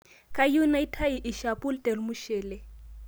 Kayieu naitei lshapu telmuchele